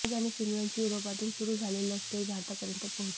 राज आणि सिमरनची युरोपातून सुरू झालेली लव्हस्टोरी भारतापर्यंत पोहचते